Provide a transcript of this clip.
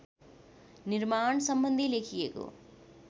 निर्माण सम्बन्धी लेखिएको